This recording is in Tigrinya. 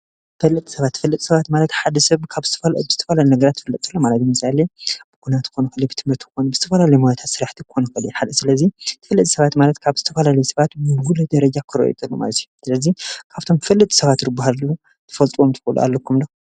ተፈለጥቲ ሰባት፦ ተፈለጥቲ ሰባት ማለት ሓደ ሰብ ካብ ብዝተፈለለዩ ነገራት ክፍለጥ ከሎ ማለት እዩ። ለምሳሌ ብኲናት ክኸውን ይኽእል እዩ ፣ብትምህርቲ ክኸውን ይኽእል ፣ብዝተፈላለዩ ሞያታት ስራሓቲ ክኾን ይኽእሉ እዮም። ስለዚ ተፈለጥቲ ሰባት ማለት ካብ ዝተፈላለዩ ሰባት ብጉሉህ ደረጃ ክርኣዩ ከለው ማለት እዩ። ስለዚ ካፍቶም ተፈለጥቲ ሰባት ዝባሃሉ ክትፈልጥዎም ትኽእሉ ኣለኩም ዶ?